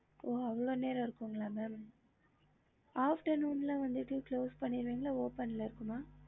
ஹம்